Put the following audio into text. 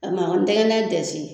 A mankɔn n tɛgɛna dɛsi.